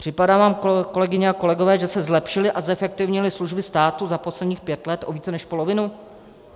Připadá vám, kolegyně a kolegové, že se zlepšily a zefektivnily služby státu za posledních pět let o více než polovinu?